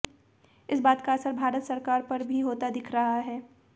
इस बात का असर भारत सरकार पर भी होता दिख रहा है